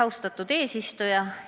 Austatud eesistuja!